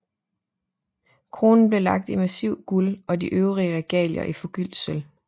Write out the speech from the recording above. Kronen ble laget i massivt guld og de øvrige regalier i forgyldt sølv